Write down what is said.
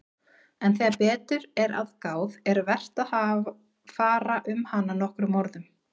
En þegar betur er að gáð er vert að fara um hana nokkrum orðum.